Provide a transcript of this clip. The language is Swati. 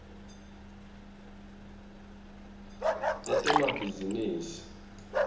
letemabhizinisi